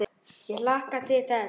Ég hlakka til þess.